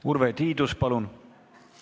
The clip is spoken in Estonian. Urve Tiidus, palun!